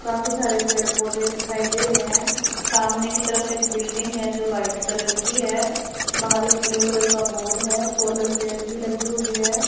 काफी सारे पेड़ पौधे दिखाई दे रहे हैं सामने की तरफ एक बिल्डिंग है जो व्हाईट कलर की है बाहर एक ब्लू कलर का बोर्ड है सोलर प्लेट भी लगी हुई है।